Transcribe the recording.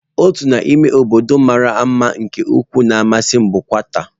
Otu n'ime obodo mara mma nke ukwuu na-amasị m bụ kata.